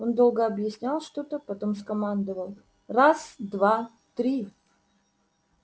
он долго объяснял что-то потом скомандовал раз два три